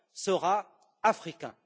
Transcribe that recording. sera africain.